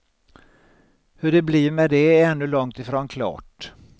Hur det blir med det är ännu långt ifrån klart.